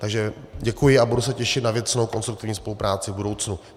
Takže děkuji a budu se těšit na věcnou konstruktivní spolupráci v budoucnu.